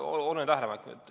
Väga oluline tähelepanek.